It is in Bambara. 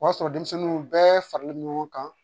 O y'a sɔrɔ denmisɛnninw bɛɛ faralen don ɲɔgɔn kan